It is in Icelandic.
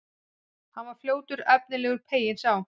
Hann var fljótt efnilegur, peyinn sá.